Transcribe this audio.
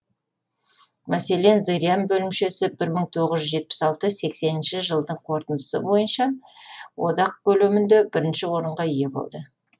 мәселен зырян бөлімшесі бір мың тоғыз жүз жетпіс алты сексенінші жылдың қорытындысы бойынша одақ көлемінде бірінші орынға ие болды